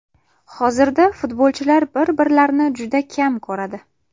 Hozirda futbolchilar bir-birlarini juda kam ko‘radi.